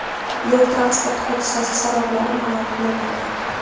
Yo‘l-transport hodisasi sabablari ma’lum qilinmagan.